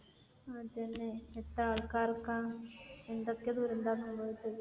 അതന്നെ. എത്ര ആൾക്കാർക്ക. എന്തൊക്കെ ദുരന്തമാണ് സംഭവിച്ചത്.